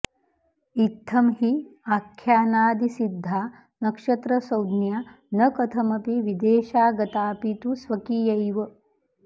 इत्थं हि आख्यानादिसिद्धा नक्षत्रसंज्ञा न कथमपि विदेशागताऽपि तु स्वकीयैव